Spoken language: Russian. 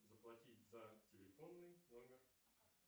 заплатить за телефонный номер